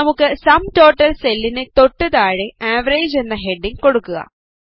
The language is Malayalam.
നമുക്ക് സം ടോട്ടൽ സെല്ലിനു തൊട്ട് താഴെ അവറേജ് എന്ന ഹെഡിംഗ് കൊടുക്കുക